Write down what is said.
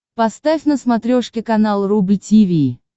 поставь на смотрешке канал рубль ти ви